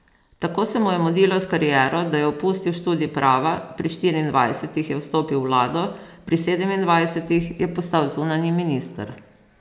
Tako se mu je mudilo s kariero, da je opustil študij prava, pri štiriindvajsetih je vstopil v vlado, pri sedemindvajsetih je postal zunanji minister.